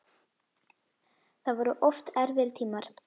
Það voru oft erfiðir tímar.